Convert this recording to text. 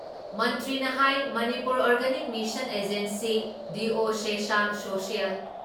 ꯃꯟꯇ꯭ꯔꯤꯅ ꯍꯥꯏ Manipur organic mission agency, diocesan social